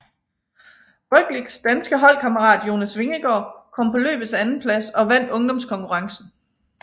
Rogličs danske holdkammerat Jonas Vingegaard kom på løbets andenplads og vandt ungdomskonkurrencen